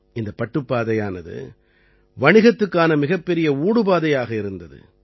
இந்தப் பட்டுப் பாதையானது வணிகத்துக்கான மிகப்பெரிய ஊடுபாதையாக இருந்தது